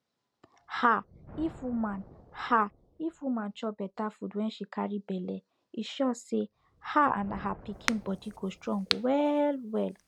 um if woman um if woman chop better food wen she carry belle e sure say her and her pikin body go strong well well